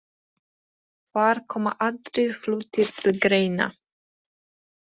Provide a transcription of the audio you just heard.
Þar koma aðrir hlutir til greina.